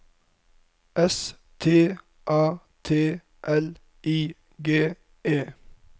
S T A T L I G E